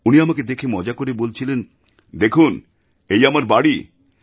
উনি আমাকে দেখে মজা করে বলছিলেন দেখুন এই আমার বাড়ি